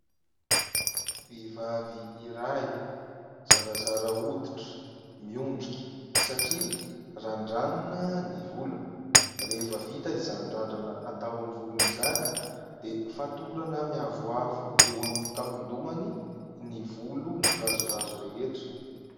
Vehivavy iray zarazara hoditra, miondrika satria randranina ny volony. Rehefa vita izany randrana atao amin'ny volony izany dia fatorana miavoavo eo amin'ny tampon-dohany ny volo mikirazorazo rehetra.